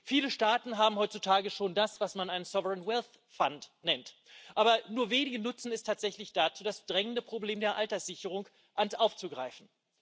Viele Staaten haben heutzutage schon das, was man einen sovereign wealth fund nennt, aber nur wenige nutzen es tatsächlich dazu, das drängende Problem der Alterssicherung aufzugreifen.